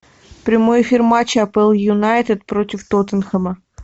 прямой эфир матча апл юнайтед против тоттенхэма